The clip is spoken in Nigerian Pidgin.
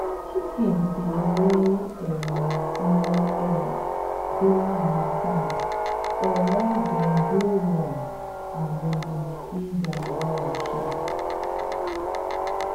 chickens dey lay um small egg during harmattan unless dem de warm and dem dey feed um well um